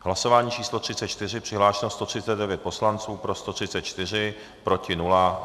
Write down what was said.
Hlasování číslo 34, přihlášeno 139 poslanců, pro 134, proti nula.